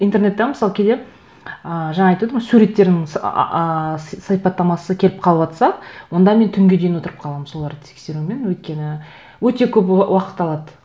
интернетте мысалы кейде ыыы жаңа айтып едім ғой суреттердің сипаттамасы келіп қалыватса онда мен түнге дейін отырып қаламын соларды тексерумен өйткені өте көп уақыт алады